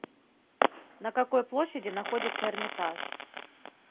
на какой площади находится эрмитаж